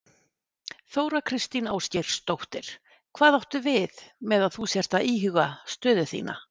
Þóra Kristín Ásgeirsdóttir: Hvað áttu við með að þú sért að íhuga stöðu þína?